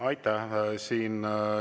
Aitäh!